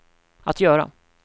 att göra